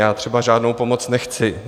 Já třeba žádnou pomoc nechci.